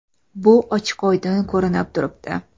Bu ochiq-oydin ko‘rinib turibdi.